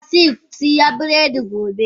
Basseiy kisiya biredi gobe.